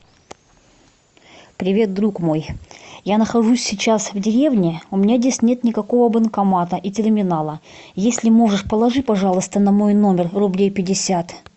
привет друг мой я нахожусь сейчас в деревне у меня здесь нет никакого банкомата и терминала если можешь положи пожалуйста на мой номер рублей пятьдесят